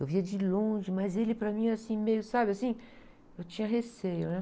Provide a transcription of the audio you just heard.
Eu via de longe, mas ele para mim, assim, meio, sabe, assim? Eu tinha receio, né?